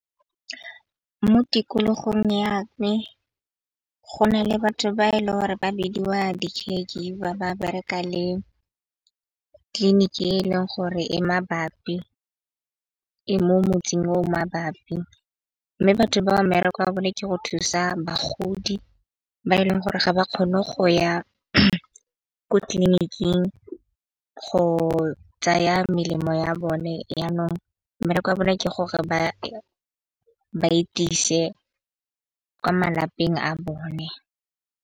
Mo tikologong ya me go na le batho ba e le ore ba bidiwa di ke ba bereka le tleliniki e e leng gore e mabapi e mo motseng o mabapi. Mme batho ba mmereko wa bone ke go thusa bagodi ba e leng gore ga ba kgone go ya ko tleliniking go tsaya melemo ya bone. Yanong mmereko wa bone ke gore ba baetise kwa malapeng a bone.